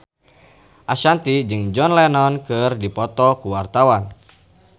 Ashanti jeung John Lennon keur dipoto ku wartawan